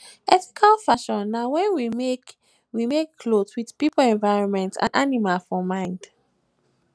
ethical fashion na when we make we make cloth with pipo environment and animal for mind